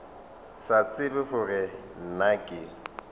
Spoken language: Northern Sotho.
sa tsebe gore na ke